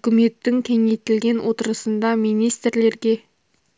үкіметтің кеңейтілген отырысында министрлерге